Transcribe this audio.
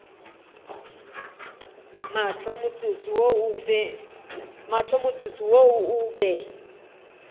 mahlo motsotso wo o be